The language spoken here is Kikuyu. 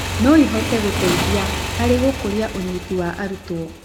no ihote gũteithia harĩ gũkũria ũyniti wa arutwo.